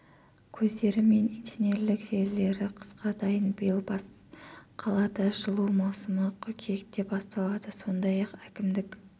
көздері мен инженерлік желілері қысқа дайын биыл бас қалада жылу маусымы қыркүйекте басталады сондай-ақ әкімдік